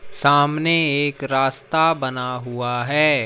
सामने एक रास्ता बना हुआ है।